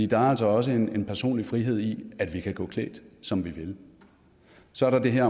der er altså også en personlig frihed i at vi kan gå klædt som vi vil så er der det her